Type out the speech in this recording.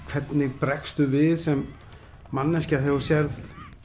hvernig bregstu við sem manneskja þegar þú sérð